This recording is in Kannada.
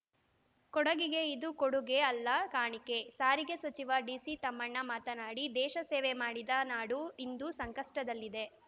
ಕೊಡಗಿಗೆ ಇದು ಕೊಡುಗೆ ಅಲ್ಲ ಕಾಣಿಕೆ ಸಾರಿಗೆ ಸಚಿವ ಡಿಸಿತಮ್ಮಣ್ಣ ಮಾತನಾಡಿ ದೇಶ ಸೇವೆ ಮಾಡಿದ ನಾಡು ಇಂದು ಸಂಕಷ್ಟದಲ್ಲಿದೆ